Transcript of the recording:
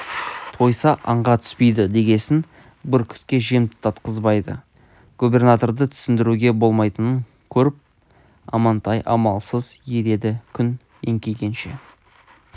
тойса аңға түспейді дегесін бүркітке жем татқызбайды губернаторды түсіндіруге болмайтынын көріп амантай амалсыз ереді күн еңкейгенше